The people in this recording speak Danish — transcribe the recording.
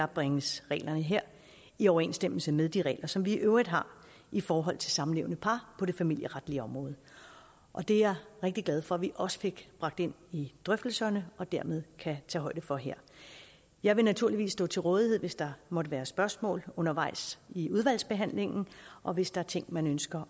bringes reglerne her i overensstemmelse med de regler som vi i øvrigt har i forhold til samlevende par på det familieretlige område og det er jeg rigtig glad for at vi også fik bragt ind i drøftelserne og dermed kan tage højde for her jeg vil naturligvis stå til rådighed hvis der måtte være spørgsmål undervejs i udvalgsbehandlingen og hvis der er ting man ønsker